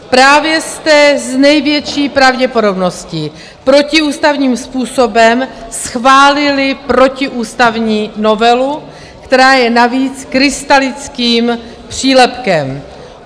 Právě jste s největší pravděpodobností protiústavním způsobem schválili protiústavní novelu, která je navíc krystalickým přílepkem.